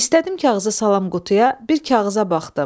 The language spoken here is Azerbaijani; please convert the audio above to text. İstədim kağızı salam qutuya, bir kağıza baxdım.